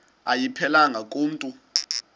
ayiphelelanga ku mntu